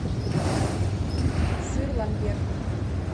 сыр ламбер